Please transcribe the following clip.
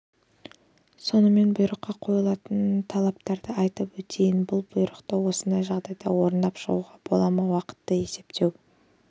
сонымен бұйрыққа қойылатын талаптарды айтып өтейін бұл бұйрықты осындай жағдайда орындап шығуға бола ма уақытты есептеу